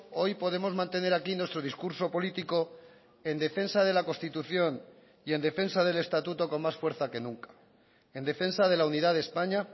hoy podemos mantener aquí nuestro discurso político en defensa de la constitución y en defensa del estatuto con más fuerza que nunca en defensa de la unidad de españa